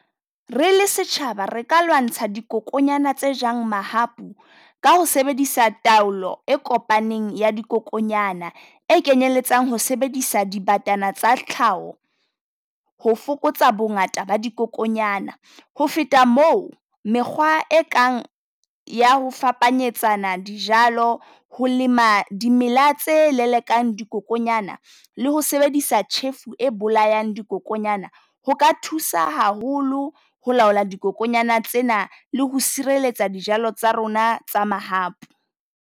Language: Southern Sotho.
Re le setjhaba re ka lwantsha dikokonyana tse jwang mahapu, ka ho sebedisa taolo e kopaneng ya dikokonyana. E kenyelletsang ho sebedisa dibatana tsa tlhaho ho fokotsa bongata ba dikokonyana. Ho feta moo, mekgwa e kang ya ho fapanyetsana dijalo ho lema dimela tse lelekang le ho sebedisa tjhefo e bolayang dikokonyana. Ho ka thusa haholo ho laola dibokonyana tsena le ho sireletsa dijalo tsa rona tsa mahapu.